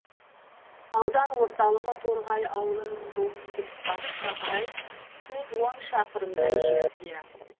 аудан орталығы торғай ауылының солтүстік батысқа қарай жүз он шақырымдай жерде